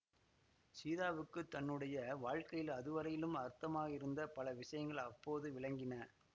சீதாவுக்கு தன்னுடைய வாழ்க்கையில் அதுவரையில் அர்த்தமாகாதிருந்த பல விஷயங்கள் அப்போது விளங்கின